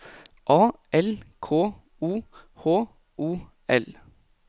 A L K O H O L